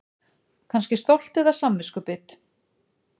Kannski stolt eða samviskubit.